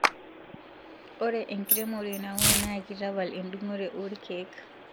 Ore inkeremore nauno na kiitapala edungore oo irkeek